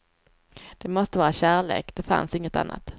Det måste vara kärlek, det fanns inget annat.